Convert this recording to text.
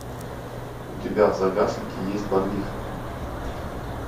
у тебя в загашнике есть барвиха